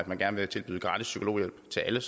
man gerne vil tilbyde gratis psykologhjælp til alle